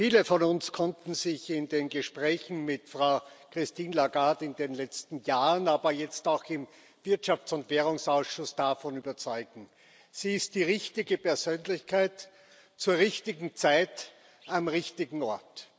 Viele von uns konnten sich in den Gesprächen mit Frau Christine Lagarde in den letzten Jahren, aber jetzt auch im Wirtschafts und Währungsausschuss davon überzeugen Sie ist die richtige Persönlichkeit zur richtigen Zeit am richtigen Ort.